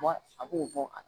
A b'o bɔ a la